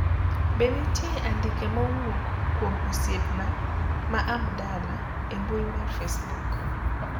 be nitie andike mowuok kuom osiepna ma Abdalla e mbui mar Facebook